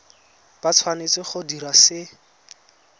ba tshwanetse go dira se